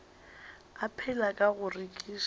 a phela ka go rekiša